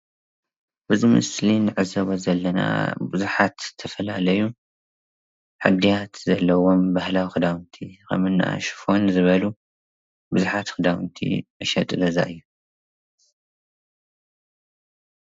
እዚ ምስሊ እንዕዘቦ ዘለና ቡዙሓት ዝተፈላለዩ ህድያት ዘለዎም ባህላዊ ክዳውንቲ ከምኒ ሹፈን ዝበሉ ቡዙሓት ክዳውንቲ መሸጢ ገዛ እዩ፡፡